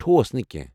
ٹھوس نہٕ کٮ۪نٛہہ ۔